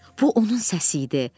Bu onun səsi idi.